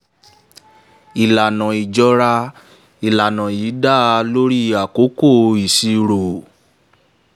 ìlànà ìjọra: ìlànà yìí dá lórí ìlànà àkókò ìṣirò.